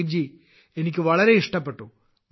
പ്രദീപ് എനിക്ക് വളരെ ഇഷ്ടപ്പെട്ടു